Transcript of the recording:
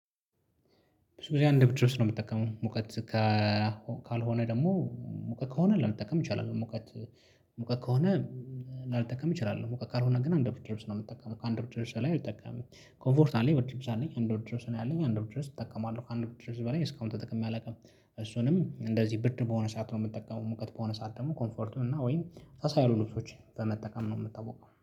ብዙ ጊዜ አንድ ብርድ ልብስ ነው የምትጠቀመው ሙቀት ካልሆነ ደግሞ ሙቀት ከሆነ ላልጠቀም ይቻላል። ሙቀት ሙቀት ከሆነ ላልጠቀም እችላለሁ። ሙቀት ካልሆነ ግን አንድ ብርድ ልብስ ነው እምጠቀመው ከአንድ ብርድ ልብስ በላይ ላይ አልጠቀምም። ኮምፎርት አለኝ ብርድ ልብስ አለኝ አንድ ብርድ ልብስ ነው ያለኝ። አንድ ብርድ ልብስ እጠቀማለሁ ከአንድ ብርድ ልብስ በላይ እስካሁን ተጠቅሜ አላውቅም። እሱንም እንደዚህ ብርድ በሆነ ሰዓት ነው የምትጠቀመው ሙቀት በሆነ ሰዓት ደግሞ ኮምፈርቱ እና ወይም ሳስ ያሉ ልብሶችን በመጠቀም ነው የምታወቀው።